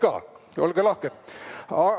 Kott ka, olge lahked!